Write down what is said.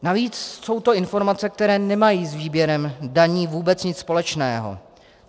Navíc jsou to informace, které nemají s výběrem daní vůbec nic společného.